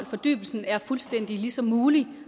fordybelsen er fuldstændig lige så mulig